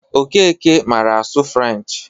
Okeke mara asụ french.